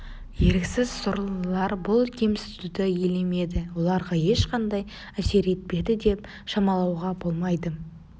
еріксіз сорлылар бұл кемсітуді елемеді оларға ешқандай әсер етпеді деп шамалауға болмайды